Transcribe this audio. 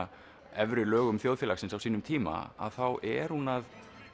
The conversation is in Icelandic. efri lögum þjóðfélagsins á sínum tíma þá er hún að